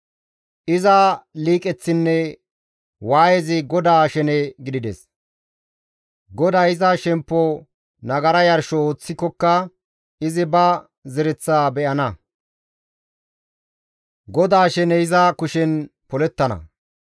«Iza liiqeththinne waayezi GODAA shene gidides; GODAY iza shemppo nagara yarsho ooththikoka izi ba zereththaa be7ana; GODAA sheney iza kushen polettana.